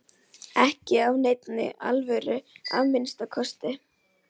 Ekki af neinni alvöru að minnsta kosti.